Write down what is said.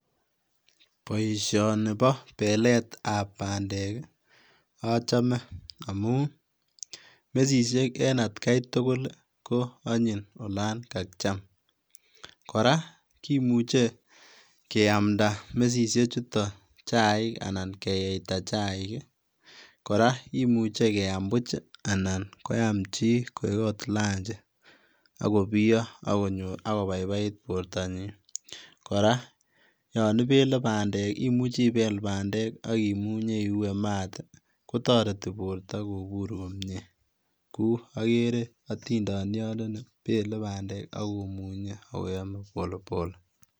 Boisioni boo belet ab bandek ochome amun mesisiek en atkaitugul ko onyiny olon kakiam ,koraa kimuche keamda mesisiechuton chaik anan keyeitaa chaik, koraa kimuche keam buch anan koam chi koik oot lanji oko biyo ak kobaibait bortanyin, koraa yon ibele bandek imuche ibele bandek ak imunye iue maat kotoreti borto kobur komie kou ogere otindoniondoni bele bandek ak komunyee akoyome polepole.